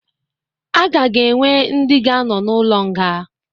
Aga ga-enwe ndi ga anọ na ụlo nga